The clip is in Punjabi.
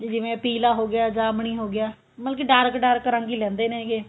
ਜਿਵੇਂ ਪੀਲਾ ਹੋ ਗਿਆ ਜਾਮਨੀ ਹੋ ਗਿਆ ਮਤਲਬ ਕੀ dark dark ਰੰਗ ਹੀ ਲੈਂਦੇ ਨੇਗੇ